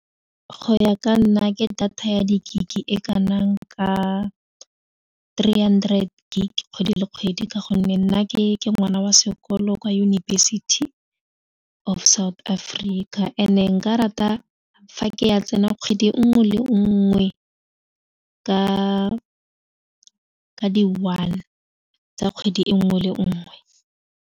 Go ya ka nna ke data ya di-gig e kanang ka three hundred gig kgwedi le kgwedi ka gonne nna ke ngwana wa sekolo kwa yunibesithi of South Africa and nka rata fa ke ya tsena kgwedi nngwe le nngwe ka di one tsa kgwedi e nngwe le nngwe.